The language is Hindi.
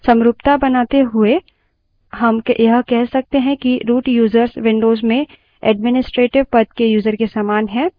समरूपता बनाते हुए हम यह कह सकते हैं कि root यूज़र्स विन्डोज़ में administrator पद के यूज़र के समान है